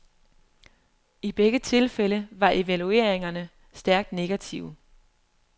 I begge tilfælde var evalueringerne stærkt negative.